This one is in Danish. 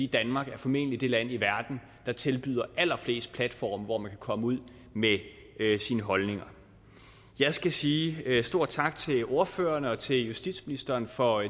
danmark er formentlig det land i verden der tilbyder allerflest platforme hvor man kan komme ud med sine holdninger jeg skal sige en stor tak til ordførerne og til justitsministeren for